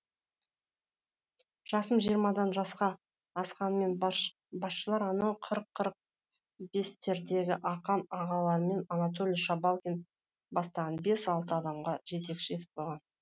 жасым жиырмадан жаңа асқанымен басшылар анау қырық қырық бестердегі ақан ағаларым анатолий шабалкин бастаған бес алты адамға жетекші етіп қойған